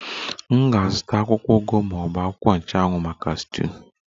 M ga-azụta akwụkwọ ugu ma ọ bụ akwụkwọ nchụanwụ maka stuuyu?